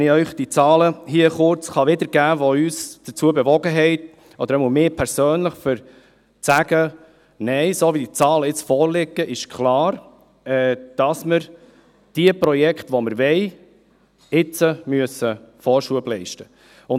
Ich kann Ihnen die Zahlen hier kurz wiedergeben, die uns – oder jedenfalls mich persönlich – dazu bewogen haben, zu sagen: «Nein, so wie die Zahlen jetzt vorliegen, ist klar, dass wir jenen Projekten, die wir wollen, nun Vorschub leisten müssen.